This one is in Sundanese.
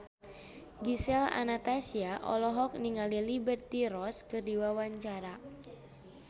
Gisel Anastasia olohok ningali Liberty Ross keur diwawancara